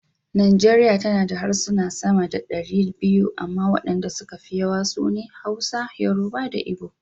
Najeriya tana da harsuna sama da dari biyu amma wadanda suka fi yawa su ne; Hausa, Yoruba da Igbo.